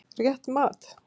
Rétt mat?